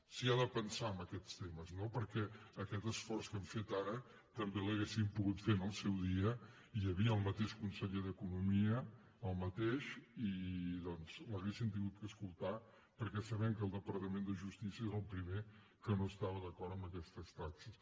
s’hi ha de pensar en aquests temes perquè aquest esforç que hem fet ara també l’hauríem pogut fer en el seu dia hi havia el mateix conseller d’economia el mateix i doncs l’haurien hagut d’escoltar perquè sabem que el departament de justícia és el primer que no estava d’acord amb aquestes taxes